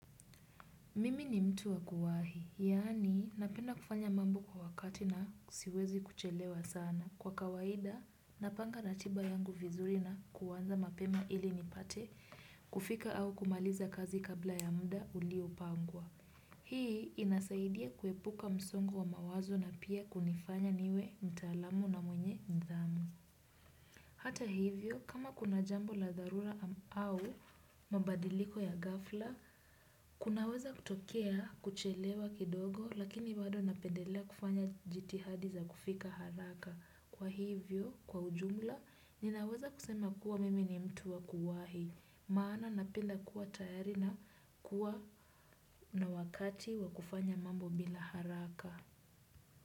Mimi ni mtu wa kuwahi, yaani napenda kufanya mambo kwa wakati na siwezi kuchelewa sana. Kwa kawaida, napanga ratiba yangu vizuri na kuanza mapema ili nipate, kufika au kumaliza kazi kabla ya muda uliopangwa. Hii inasaidia kuepuka msongo wa mawazo na pia kunifanya niwe mtaalamu na mwenye nidhamu. Hata hivyo, kama kuna jambo la dharura au mabadiliko ya ghafla, kunaweza kutokea kuchelewa kidogo lakini bado napendelea kufanya jitihadi za kufika haraka. Kwa hivyo, kwa ujumla, ninaweza kusema kuwa mimi ni mtu wa kuwahi, maana napenda kuwa tayari na kuwa na wakati wa kufanya mambo bila haraka.